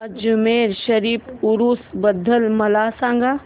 अजमेर शरीफ उरूस बद्दल मला सांग